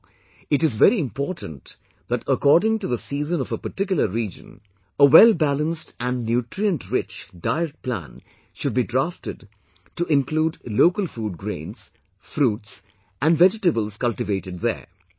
Therefore, it is very important that according to the season of a particular region, a wellbalanced & nutrient rich, diet plan should be drafted to include local food grains, fruits and the vegetables cultivated there